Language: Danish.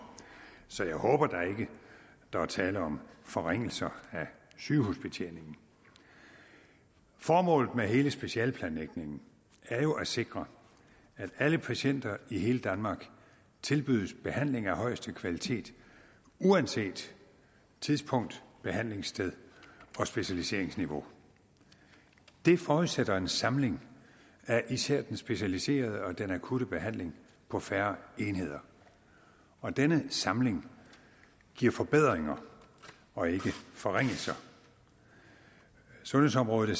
så jeg håber da ikke der er tale om forringelser af sygehusbetjeningen formålet med hele specialeplanlægningen er jo at sikre at alle patienter i hele danmark tilbydes behandling af højeste kvalitet uanset tidspunkt behandlingssted og specialiseringsniveau det forudsætter en samling af især den specialiserede og den akutte behandling på færre enheder og denne samling giver forbedringer og ikke forringelser sundhedsområdet